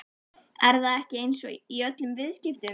Er það ekki eins í öllum viðskiptum?